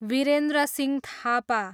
Virendrasingh Thapa